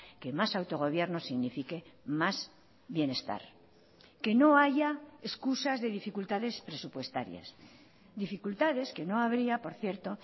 que más autogobierno signifique más bienestar que no haya excusas de dificultades presupuestarias dificultades que no habría por cierto